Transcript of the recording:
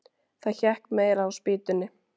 Það hékk meira á spýtunni.